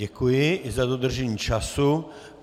Děkuji i za dodržení času.